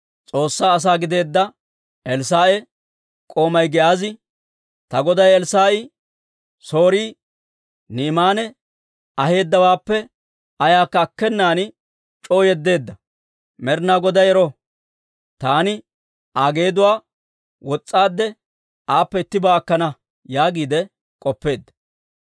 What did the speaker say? S'oossaa asaa gideedda Elssaa'a k'oomay Giyaazi, «Ta goday Elssaa'i Sooriyaa Ni'imaana aheedawaappe ayaakka akkenan c'oo yeddeedda. Med'ina Goday ero! Taani Aa geeduwaa wos's'aade, aappe ittibaa akkana» yaagiide k'oppeedda.